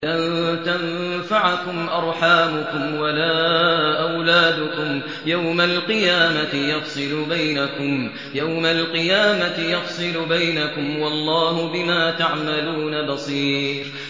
لَن تَنفَعَكُمْ أَرْحَامُكُمْ وَلَا أَوْلَادُكُمْ ۚ يَوْمَ الْقِيَامَةِ يَفْصِلُ بَيْنَكُمْ ۚ وَاللَّهُ بِمَا تَعْمَلُونَ بَصِيرٌ